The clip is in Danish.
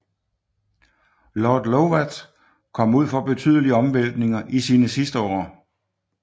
Lord Lovat kom ud for betydelige omvæltninger i sine sidste år